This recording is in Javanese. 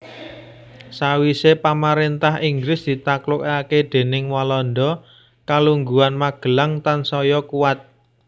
Sawisé pamaréntah Inggris ditaklukaké déning Walanda kalungguhan Magelang tansaya kuwat